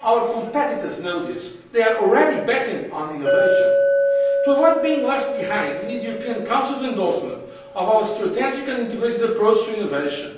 Our competitors know this, they are already betting on innovation. To avoid being left behind, we need the European Council's endorsement of our strategic and integrated approach to innovation.